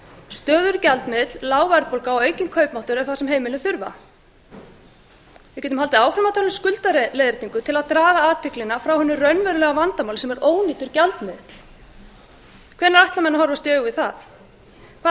stöðugur gjaldmiðill lítil verðbólga og aukinn kaupmáttur er það sem heimilin þurfa við getum haldið áfram að tala um skuldaleiðréttingu til að draga athyglina frá hinu raunverulega vandamáli sem er ónýtur gjaldmiðill hvenær ætla menn að horfast í augu við það hvaða